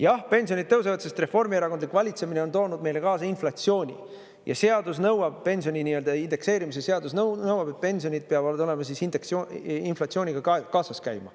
Jah, pensionid tõusevad, sest reformierakondlik valitsemine on toonud meile kaasa inflatsiooni ja seadus nõuab, pensioni nii-öelda indekseerimise seadus nõuab, et pensionid peavad inflatsiooniga kaasas käima.